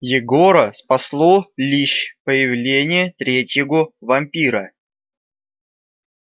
егора спасло лишь появление третьего вампира